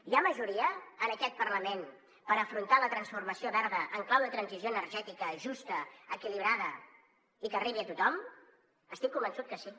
hi ha majoria en aquest parlament per afrontar la transformació verda en clau de transició energètica justa equilibrada i que arribi a tothom estic convençut que sí